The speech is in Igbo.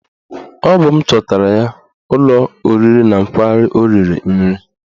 Ọ bụ m chọtara ya ụlọ oriri na nkwari o riri nri